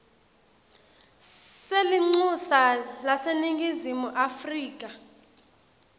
selincusa laseningizimu afrika